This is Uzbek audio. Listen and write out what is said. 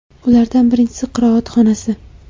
Ulardan birinchisi qiroat xonasi.